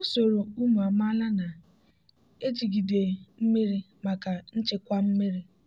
usoro ụmụ amaala na-ejigide mmiri maka nchekwa mmiri.